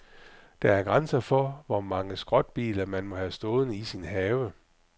Der er grænser for, hvor mange skrotbiler, man må have stående i sin have.